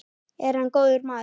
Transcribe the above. Er hann góður maður?